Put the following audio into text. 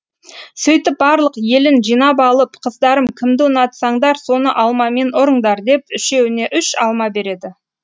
сөйтіп барлық елін жинап алып қыздарым кімді ұнатсаңдар соны алмамен ұрыңдар деп үшеуіне үш алма береді